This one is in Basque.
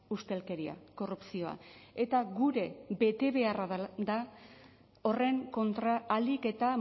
ustelkeria korrupzioa eta gure betebeharra da horren kontra ahalik eta